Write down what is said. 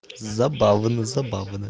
забавно забавно